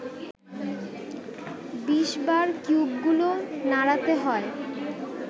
২০বার কিউবগুলো নাড়াতে হয়